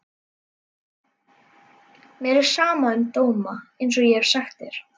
Mér er sama um dóma einsog ég hef sagt þér.